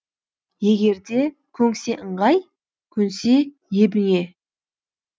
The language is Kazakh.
егерде көнсе ыңғай көнсе ебіңе